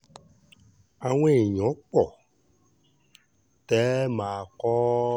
àwọn èèyàn pọ̀ tẹ́ ẹ máa kọ́ ọ ọ